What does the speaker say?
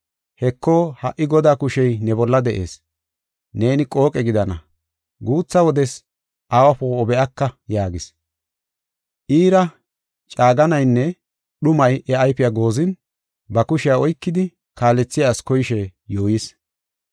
Heko, ha77i Godaa kushey ne bolla de7ees. Neeni qooqe gidana; guutha wodes awa poo7o be7aka” yaagis. Iira caaganne dhumi iya ayfiya goozin, ba kushiya oykidi kaalethiya asi koyishe yuuyis.